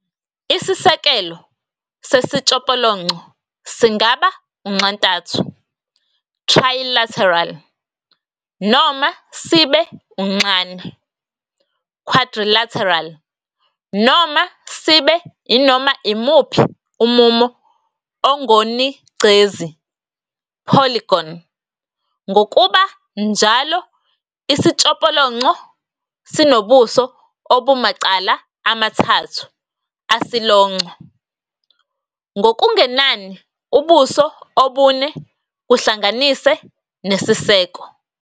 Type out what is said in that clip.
Isisekelo sesitshopolonco singaba unxantathu ",trilateral, noma sibe unxane ",quadrilateral, noma sibe inoma imuphi umumo ongonigcezi ",polygon. Ngokuba njalo, isitshopolonco sinobuso obumacala amathathu asilonco, ngokungenani ubuso obune kuhlanganise nesiseko.